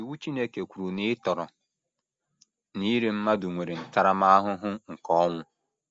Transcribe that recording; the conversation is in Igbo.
Iwu Chineke kwuru na ịtọrọ na ire mmadụ nwere ntaramahụhụ nke ọnwụ.